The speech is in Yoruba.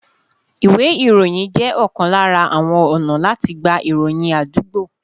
Ìwé ìròyìn jẹ́ ọ̀kan lára àwọn ọ̀nà láti gba ìròyìn àdúgbò